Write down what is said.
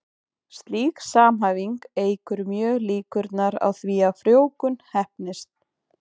Slík samhæfing eykur mjög líkurnar á því að frjóvgun heppnist.